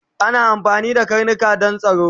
Ana amfani da karnika Dan tsaro